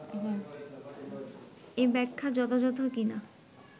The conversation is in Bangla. এই ব্যাখ্যা যথাযথ কি না